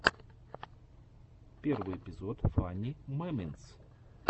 первый эпизод фани мемэнтс